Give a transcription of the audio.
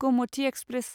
Gomti express